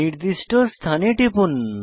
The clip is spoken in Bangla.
নির্দিষ্ট স্থানে টিপুন